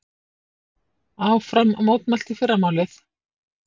Áfram mótmælt í fyrramálið